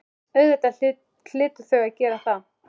Auðvitað hlytu þau að gera það.